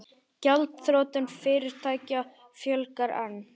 Gjaldþrotum fyrirtækja fjölgar enn